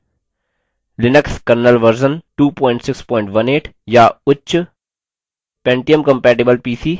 Linux kernel version linux kernel version 2618 या उच्च ; pentium compatibleपीसी pentiumcompatible pc